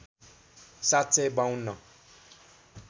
७ सय ५२